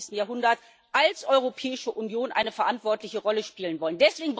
21. Jahrhunderts als Europäische Union eine verantwortliche Rolle spielen wollen.